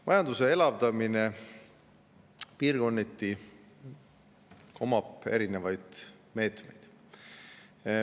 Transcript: Majanduse elavdamiseks piirkondades on erinevaid meetmeid.